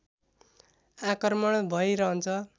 आक्रमण भै रहन्छ